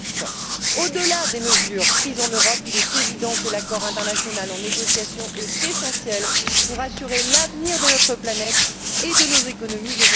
40 Deuxièmement, au delà des mesures prises en Europe, il est évident que l'accord international en négociation est essentiel pour assurer l'avenir de notre planète et de nos économies.